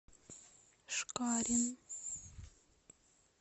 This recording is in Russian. шкарин